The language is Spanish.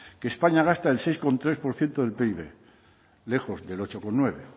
que españa gasta el seis coma tres por ciento del pib lejos del ocho coma nueve